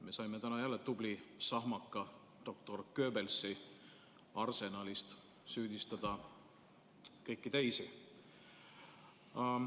Me saime täna jälle tubli sahmaka doktor Goebbelsi arsenalist: süüdistada kõiki teisi.